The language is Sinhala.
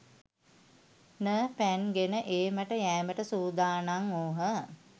න පැන් ගෙන ඒමට යෑමට සූදානම් වූහ.